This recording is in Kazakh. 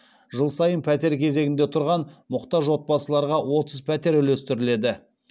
жыл сайын пәтер кезегінде тұрған мұқтаж отбасыларға отыз пәтер үлестіріледі